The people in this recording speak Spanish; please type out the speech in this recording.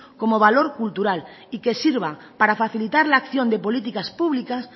como valor cultural y que sirva para facilitar la acción de políticas públicas